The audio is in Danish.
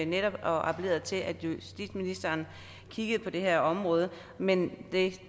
netop appelleret til at justitsministeren kiggede på det her område men det er ikke